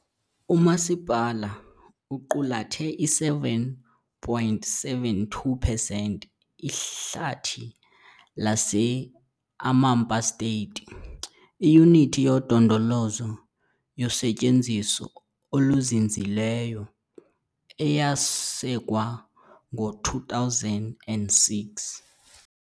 Umasipala uqulathe i-7.72 percent Ihlathi lase-Amapá State, iyunithi yodondolozo yosetyenziso oluzinzileyo eyasekwa ngo-2006.